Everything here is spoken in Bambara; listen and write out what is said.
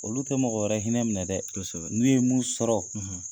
Olu tɛ mɔgɔ wɛrɛ hinɛ minɛ dɛ. Kɔsɛbɛ. N'u ye mun sɔrɔ